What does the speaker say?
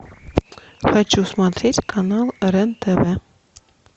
хочу смотреть канал рен тв